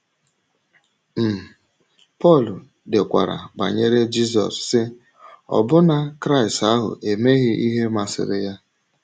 um Pọl dekwara banyere Jízọs, sị: “Ọbụ́nà Kraịst ahụ emeghị ihe masịrị ya.”